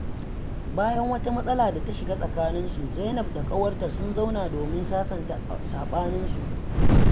Bayan wata matsala ta shiga tsakaninsu, Zainab da ƙawarta sun zauna domin sasanta saɓaninsu.